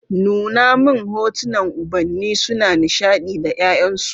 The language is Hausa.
Nuna min hotunan ubanni suna nishadi da ’ya’yansu.